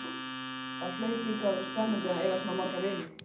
Það hlaut líka að vera spennandi að eiga svona marga vini.